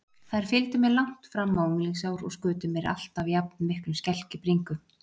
Þær fylgdu mér langt fram á unglingsár og skutu mér alltaf jafnmiklum skelk í bringu.